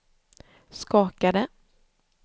skakade